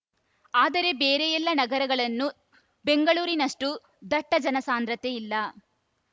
ಆದರೆ ಬೇರೆ ಎಲ್ಲಾ ನಗರಗಳನ್ನೂ ಬೆಂಗಳೂರಿನಷ್ಟುದಟ್ಟಜನಸಾಂದ್ರತೆ ಇಲ್ಲ